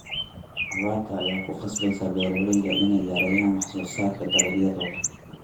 Abaarta ayaa ku qasbaysa beeralayda inay yareeyaan wax soo saarka dalagyadooda.